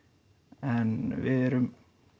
en við erum